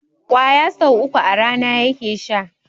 ƙwaya sau uku a rana yake sha